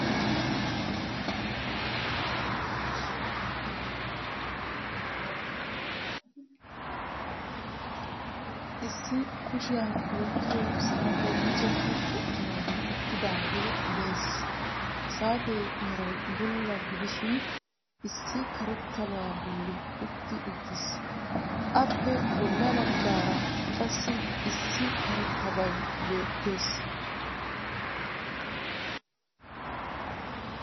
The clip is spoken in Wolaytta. Issi kushiyan wottiyo saatee miccetti uttidagee dees. Ha saatee meray bulla gidishiin issi karetabaa bolli utti uttiis. Appe bolla baggaara qassi issi karettabay beettees.